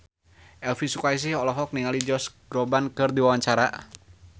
Elvi Sukaesih olohok ningali Josh Groban keur diwawancara